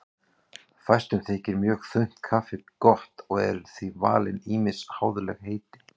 Fæstum þykir mjög þunnt kaffi gott og eru því valin ýmis háðuleg heiti.